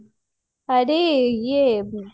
ଆରେ ଇଏ